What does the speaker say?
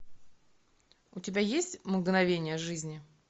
у тебя есть мгновения жизни